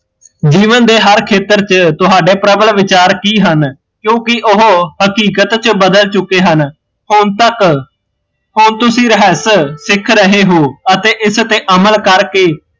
ਜੀਵਨ ਦੇ ਹਰ ਖੇਤਰ ਚ ਤੁਹਾਡੇ ਪ੍ਰਬਲ ਵਿਚਾਰ ਕੀ ਹਨ ਕਿਓਕਿ ਓਹ ਹਕੀਕਤ ਚ ਬਦਲ ਚੁੱਕੇ ਹਨ ਹੁਣ ਤੱਕ ਹੁਣ ਤੂਸੀ ਰਹੱਸ ਸਿੱਖ ਰਹੇ ਹੋ ਅਤੇ ਇਸ ਤੇ ਅਮਲ ਕਰ ਕੇ